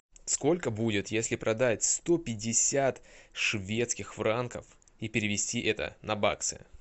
сколько будет если продать сто пятьдесят шведских франков и перевести это на баксы